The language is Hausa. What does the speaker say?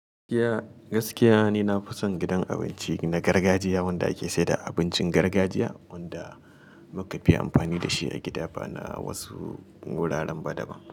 Gaskiya, gaskiya ne na fi son gidan abinci na gargajiya wanda ake sayar da abincin gargajiya wanda muka fi amfani da shi a gida ba na wasu wuraren ba daban.